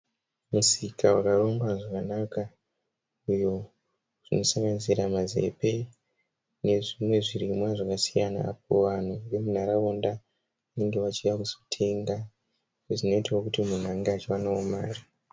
Misika yakarongwa zvakanaka iyo inosanganisira mazepe nezvimwe zvirimwa zvakasiyana. Vanhu vemunharaunda vanenge vachiuya kuzotenga izvo zvinoita kuti vanhu vange vachiwanawo mari.